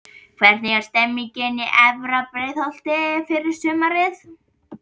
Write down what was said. Hvernig er stemningin í efra Breiðholtinu fyrir sumarið?